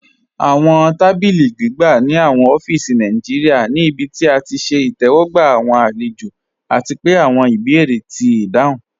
Awọn tàbílí gbìgbà ní awọn ófíísì Nàìjíríà ní ìbí tí à ti ṣẹ̀ ìtẹwọgba awọn alẹ̀jọ, àti pẹ̀ awọn ìbèérè ti dáhùn.